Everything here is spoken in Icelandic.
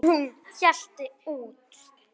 En hún hélt út.